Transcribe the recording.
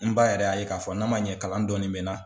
N b ba yɛrɛ y'a ye k'a fɔ n'a man ɲɛ kalan dɔɔni n bɛ n na.